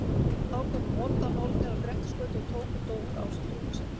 Þá komu vondar nornir á Grettisgötu og tóku Dór ásamt rúmi sínu.